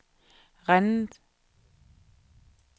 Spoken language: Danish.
Rennes